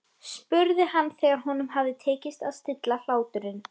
spurði hann þegar honum hafði tekist að stilla hláturinn.